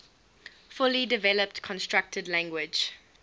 fully developed constructed language